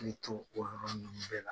o yɔrɔ ninnu bɛɛ la.